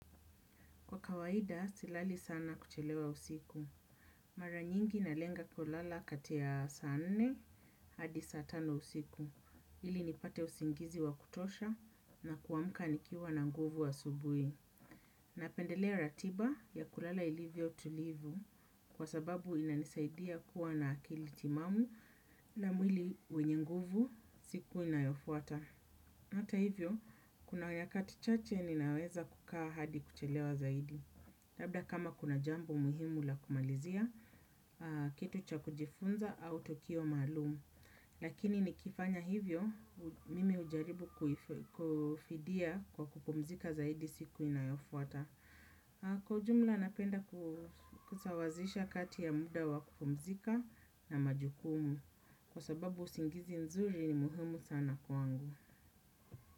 Kwa kawaida, silali sana kuchelewa usiku. Mara nyingi nalenga kulala kati ya saa nne hadi saa tano usiku. Ili nipate usingizi wa kutosha na kuamka nikiwa na nguvu asubui. Napendelea ratiba ya kulala ilivyo tulivu kwa sababu inanisaidia kuwa na akili timamu na mwili wenye nguvu siku inayofuata. Hata hivyo, kuna nyakati chache ninaweza kukaa hadi kuchelewa zaidi. Labla kama kuna jambo muhimu la kumalizia kitu cha kujifunza au tukio maalumu. Lakini nikifanya hivyo mimi hujaribu kufidia kwa kupumzika zaidi siku inayofuata. Kwa ujumla napenda kusawazisha kati ya muda wa kupumzika na majukumu. Kwa sababu usingizi nzuri ni muhimu sana kwangu.